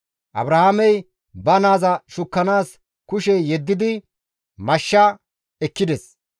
Abrahaamey ba naaza shukkanaas kushe yeddidi mashsha ekkides. Abrahaamey ba naa Yisaaqa yarshanaas hanishin